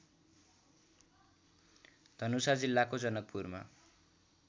धनुषा जिल्लाको जनकपुरमा